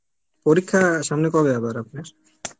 পরীক্ষা সামনে কবে আবার আপনার?